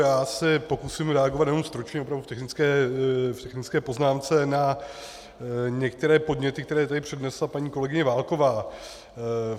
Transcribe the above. Já se pokusím reagovat jenom stručně opravdu v technické poznámce na některé podněty, které tady přednesla paní kolegyně Válková.